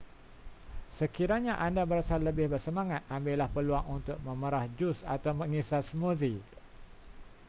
sekiranya anda berasa lebih bersemangat ambillah peluang untuk memerah jus atau mengisar smoothie